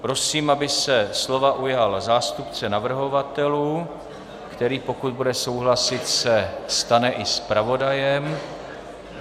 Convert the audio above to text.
Prosím, aby se slova ujal zástupce navrhovatelů, který, pokud bude souhlasit, se stane i zpravodajem.